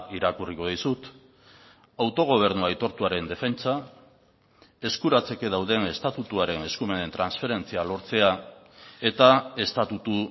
irakurriko dizut autogobernu aitortuaren defentsa eskuratzeke dauden estatutuaren eskumenen transferentzia lortzea eta estatutu